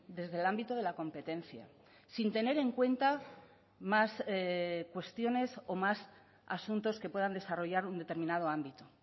desde el ámbito de la competencia sin tener en cuenta más cuestiones o más asuntos que puedan desarrollar un determinado ámbito